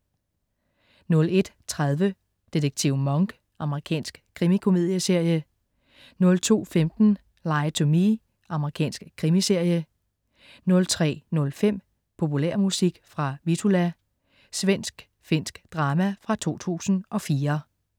01.30 Detektiv Monk. Amerikansk krimikomedieserie 02.15 Lie to Me. Amerikansk krimiserie 03.05 Populærmusik fra Vittula. Svensk-finsk drama fra 2004